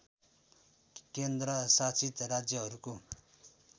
केन्द्र शासित राज्यहरूको